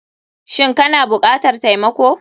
Shin kana bukatar taimako.